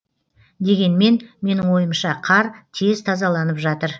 дегенмен менің ойымша қар тез тазаланып жатыр